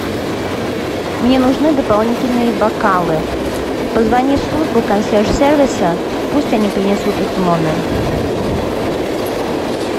мне нужны дополнительные бокалы позвони в службу консьерж сервиса пусть они принесут их в номер